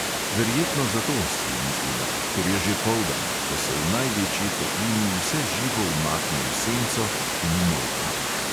"Verjetno zato," si je mislila, "ker je že poldan, ko se v največji toplini vse živo umakne v senco in umolkne."